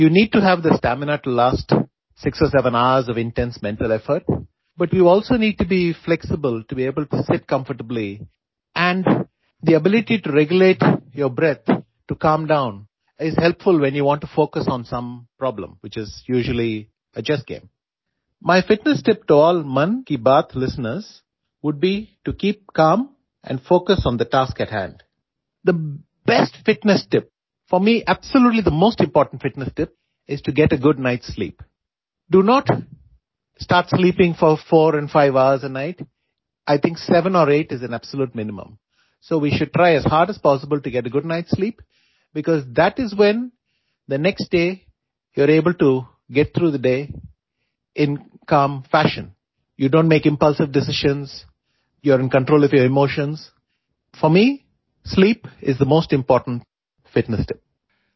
you need to have the stamina to last 6 or 7 hours of intense mental effort but you also need to be flexible to able to sit comfortably and the ability to regulate your breath to calm down is helpful when you want to focus on some problem which is usual a chess game my fitness tip to all Mann Ki Baat listeners would be to keep calm and focus on the task ahead the best fitness tip for me absolutely the most important fitness tip is to get a good night sleep do not start sleeping for four and five hours a night I think seven or eight is a absolute minimum so we should try as hard as possible to get good night sleep because that is when the next day you are able to get through the day in calm fashion you don't make impulsive decisions you are in control of your emotions for me sleep is the most important fitness tip